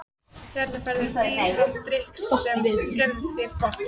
Hérna færðu dýran drykk sem gerir þér gott.